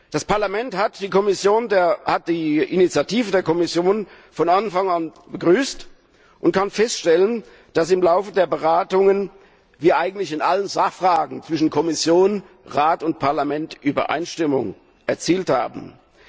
Das Parlament hat die Initiative der Kommission von Anfang an begrüßt und kann feststellen, dass im Laufe der Beratungen eigentlich in allen Sachfragen zwischen Kommission, Rat und Parlament Übereinstimmung erzielt wurde.